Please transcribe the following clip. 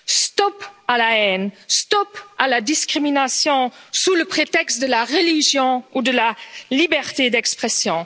Stop à la haine, stop à la discrimination sous le prétexte de la religion ou de la liberté d'expression!